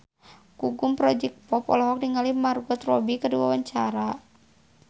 Gugum Project Pop olohok ningali Margot Robbie keur diwawancara